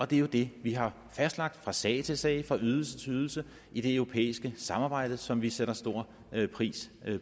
det er jo det vi har fastlagt fra sag til sag fra ydelse til ydelse i det europæiske samarbejde som vi sætter stor pris